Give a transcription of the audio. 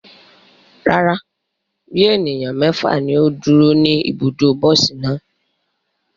Rara, bi eniyan mẹfa ni o duro ni ibudo bosi naa